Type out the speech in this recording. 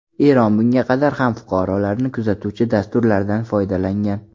Eron bunga qadar ham fuqarolarni kuzatuvchi dasturlardan foydalangan.